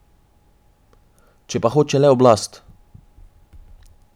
Če pa hoče le oblast.